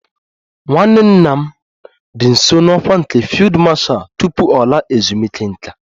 Nwanne nna m dị nso n'ọkwá nke Fiilidi Mashal tupu ọ laa ezumike nká